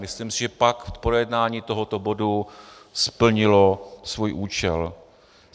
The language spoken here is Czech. Myslím si, že pak projednání tohoto bodu splnilo svůj účel.